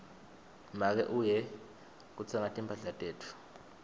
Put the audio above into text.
make uye kutsenga timphahla tetfu